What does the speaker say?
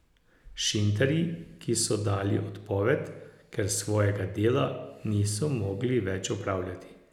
Šinterji, ki so dali odpoved, ker svojega dela niso mogli več opravljati.